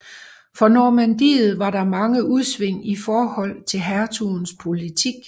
For Normandiet var der mange udsving i forhold til hertugens politik